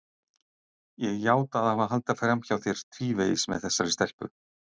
Ég játa að hafa haldið fram hjá þér tvívegis með þessari stelpu.